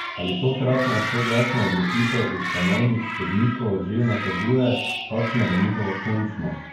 Ali tokratna soglasna odločitev ustavnih sodnikov že nakazuje, kakšna bo njihova končna?